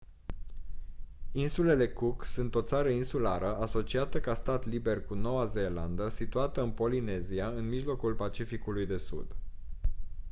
insulele cook sunt o țară insulară asociată ca stat liber cu noua zeelandă situată în polinezia în mijlocul pacificului de sud